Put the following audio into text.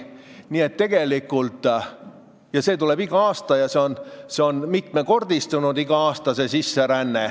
Nii et tegelikult on sisseränne iga aasta mitmekordistunud.